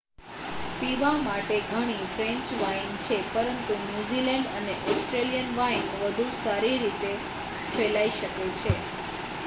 પીવા માટે ઘણી ફ્રેન્ચ વાઇન છે પરંતુ ન્યૂઝીલેન્ડ અને ઓસ્ટ્રેલિયન વાઇન વધુ સારી રીતે ફેલાઈ શકે છે